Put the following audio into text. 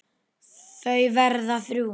Þau verða þrjú.